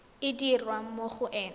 e dirwa mo go ena